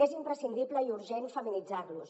és imprescindible i urgent feminitzar los